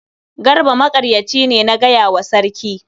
Garba maƙaryaci ne na gaya wa sarki.